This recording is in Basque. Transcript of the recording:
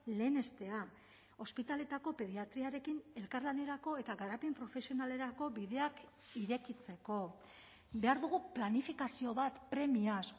lehenestea ospitaleetako pediatriarekin elkarlanerako eta garapen profesionalerako bideak irekitzeko behar dugu planifikazio bat premiaz